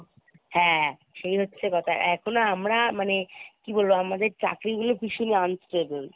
হ্যাঁ , সেই হচ্ছে কথা এখন আমরা মানে কি বলবো আমাদের চাকরিগুলো ভীষণ unstable.